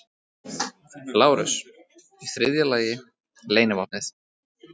LÁRUS: Í þriðja lagi: leynivopnið.